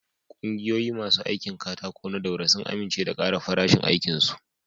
Kungiyoyin masu aikin katako na Daura sun amince da ƙara farashin aikin su.